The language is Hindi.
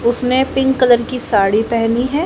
उसने पिंक कलर की साड़ी पहनी है।